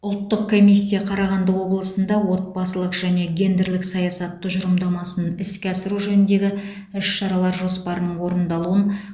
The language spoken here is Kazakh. ұлттық комиссия қарағанды облысында отбасылық және гендерлік саясат тұжырымдамасын іске асыру жөніндегі іс шаралар жоспарының орындалуын